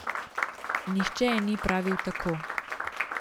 Nihče ji ni pravil tako.